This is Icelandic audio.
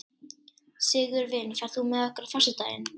Sigurvin, ferð þú með okkur á föstudaginn?